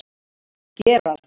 Gerald